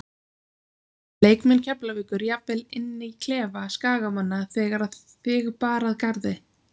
Leikmenn Keflavíkur jafnvel inn í klefa Skagamanna þegar að þig bar að garði?